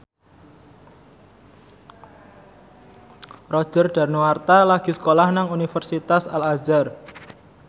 Roger Danuarta lagi sekolah nang Universitas Al Azhar